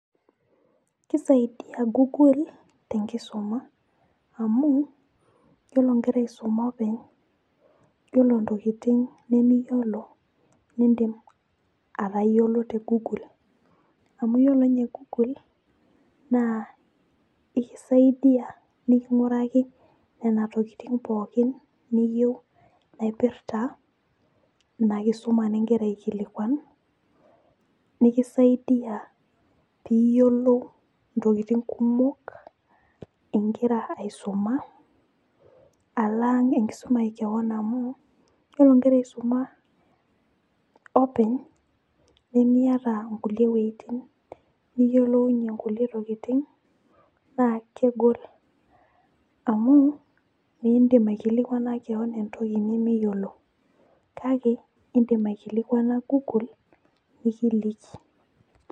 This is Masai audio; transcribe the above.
Kisaidia [google tenkisuma amu yiolo nkera isuma openy, yiolo ntokitin nimiyiolo, nindim atayiolo tegoogle , amu yiolo nye google ekisaidia nikinguraki nena tokitin pookin niyieu naipirta ina kisuma ningira aikilikwan , nikisaidia , piyiolou ntokitin kumok ingira aisuma alang enkisuma ekewon amu yiolo nkera isuma openy nimiata nkulie wuetin niyiolounyie kulie tokitin naa kegol amu mindim aikilikwana kewon entoki nimiyiolo , kake indim aikilikwana google nikiliki.